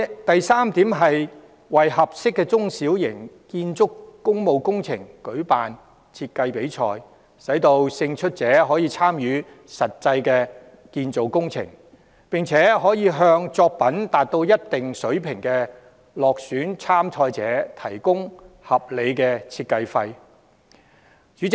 第三，為合適的中小型工務工程舉辦建築設計比賽，讓勝出者參與工程，並向作品達到一定水平的落選參賽者提供合理的設計費用。